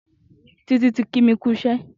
Titi ti kí mi kù iṣẹ